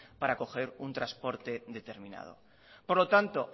para coger un transporte determinado por lo tanto